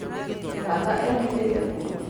tata ehithĩte kũ?